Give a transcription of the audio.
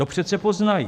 To přece poznají.